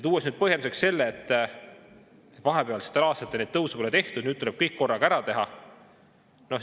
Põhjenduseks tuuakse see, et vahepealsetel aastatel tõuse pole tehtud, nüüd tuleb kõik korraga ära teha.